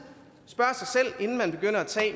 spørge sig